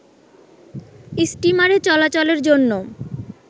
স্টিমারে চলাচলের জন্য